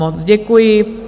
Moc děkuji.